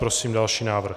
Prosím další návrh.